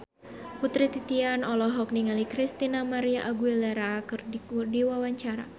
Putri Titian olohok ningali Christina María Aguilera keur diwawancara